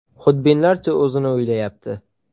Xudbinlarcha o‘zini o‘ylayapti.